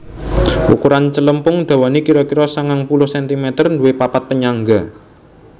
Ukuran celempung dawane kira kira sangang puluh centimeter nduwe papat penyangga